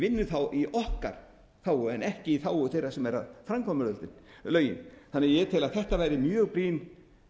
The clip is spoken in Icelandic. vinnur þá í okkar þágu en ekki í þágu þeirra sem eru að framkvæma lögin þannig að ég tel að þetta væri mjög brýn